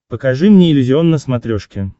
покажи мне иллюзион на смотрешке